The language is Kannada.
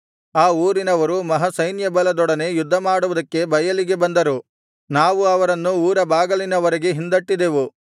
ಆ ಊರಿನವರು ಮಹಾಸೈನ್ಯಬಲದೊಡನೆ ಯುದ್ಧಮಾಡುವುದಕ್ಕೆ ಬಯಲಿಗೆ ಬಂದರು ನಾವು ಅವರನ್ನು ಊರ ಬಾಗಿಲಿನವರೆಗೂ ಹಿಂದಟ್ಟಿದೆವು